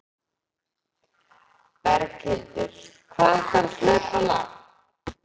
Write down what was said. Berghildur: Hvað ætlarðu að hlaupa langt?